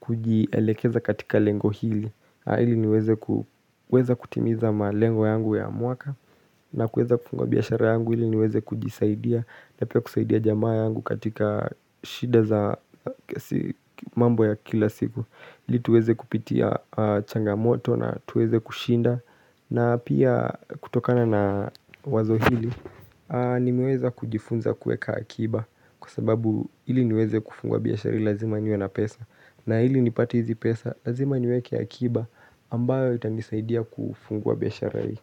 kujielekeza katika lengo hili. Hili kuweza kutimiza malengo yangu ya mwaka. Na kueza kufungua biashara yangu hili niweze kujisaidia. Na pia kusaidia jamaa yangu katika shida za mambo ya kila siku. Hili tuweze kupitia changamoto na tuweze kushinda. Na pia kutokana na wazo hili, nimeweza kujifunza kueka akiba kwa sababu ili niweze kufungua biashara lazima niwe na pesa na ili nipate hizi pesa lazima niweke akiba ambayo itanisaidia kufungwa biashara hii.